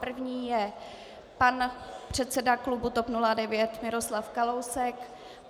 První je pan předseda klubu TOP 09 Miroslav Kalousek.